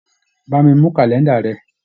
Bá mi mú kàlẹ́ńdà rẹ.